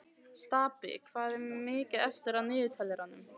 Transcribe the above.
Stapi, hvað er mikið eftir af niðurteljaranum?